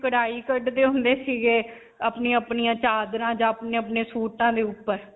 ਕਢਾਈ ਕਢਦੇ ਹੁੰਦੇ ਸੀਗੇ. ਆਪਣੀਆਂ-ਆਪਣੀਆਂ ਚਾਦਰਾਂ ਜਾਂ ਅਪਨੇ-ਅਪਨੇ ਸੂਟਾਂ ਦੇ ਉੱਪਰ.